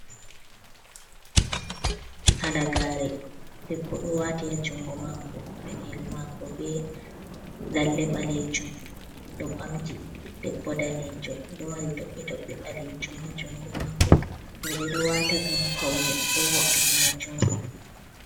Halagare, ɗeɓɓo ɗo wati ha jungo mako. Peɗeli mako ɓe lalle ɓalejum, oɗo ɓamji, ɗeɓɓo nɗanejo. Ɗo mari toɓɓe toɓɓe ɓalejum ha jungo mako. Roɓ ɗo wata ngam paune ɗo vo’’itina jungo.